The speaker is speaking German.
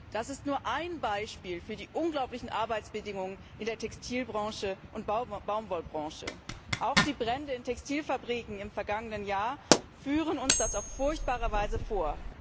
Das ist nur ein Beispiel für die unglaublichen Arbeitsbedingungen in der Textil und Baumwollbranche. Auch die Brände in Textilfabriken im vergangenen Jahr führen uns das auf furchtbare Weise vor.